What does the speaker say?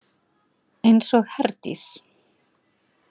Eins og Herdís.